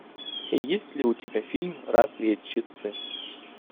есть ли у тебя фильм разведчицы